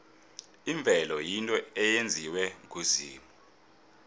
imvelo yinto eyenziwe nguzimu